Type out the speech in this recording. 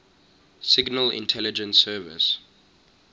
signal intelligence service